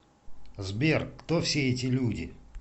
сбер кто все эти люди